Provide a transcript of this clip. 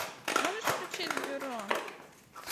можешь включить бюро